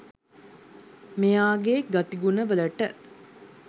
මෙයාගෙ ගතිගුණ වලට